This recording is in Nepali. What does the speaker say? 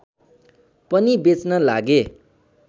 पनि बेच्न लागे